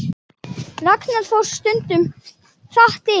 Ragnar fór stundum hratt yfir.